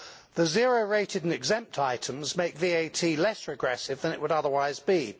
The zero rated and exempt items make VAT less regressive than it would otherwise be.